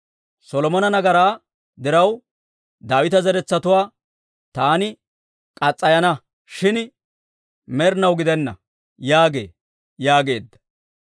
Solomona nagaraa diraw Daawita zeretsatuwaa taani murana; shin med'inaw gidenna› yaagee» yaageedda.